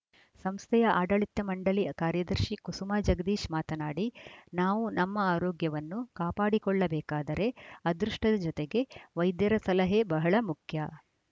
ಸಂಸ್ಥೆಯ ಆಡಳಿತ ಮಂಡಳಿ ಕಾರ್ಯದರ್ಶಿ ಕುಸುಮ ಜಗದೀಶ್‌ ಮಾತನಾಡಿ ನಾವು ನಮ್ಮ ಆರೋಗ್ಯವನ್ನು ಕಾಪಾಡಿಕೊಳ್ಳಬೇಕಾದರೆ ಅದೃಷ್ಟದ ಜೊತೆಗೆ ವೈದ್ಯರ ಸಲಹೆ ಬಹಳ ಮುಖ್ಯ